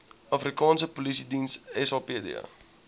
afrikaanse polisiediens sapd